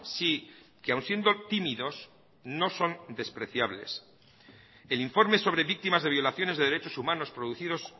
sí que aun siendo tímidos no son despreciables el informe sobre víctimas de violaciones de derechos humanos producidos